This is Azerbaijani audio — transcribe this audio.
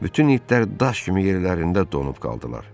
Bütün itlər daş kimi yerlərində donub qaldılar.